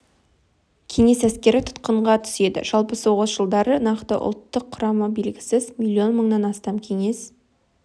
кеңес әскері тұтқынға түседі жалпы соғыс жылдары нақты ұлттық құрамы белгісіз миллион мыңнан астам кеңес